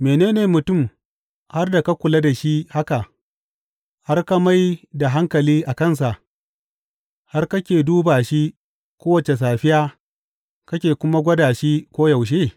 Mene ne mutum har da ka kula da shi haka, har ka mai da hankali a kansa, har kake duba shi kowace safiya, kake kuma gwada shi koyaushe?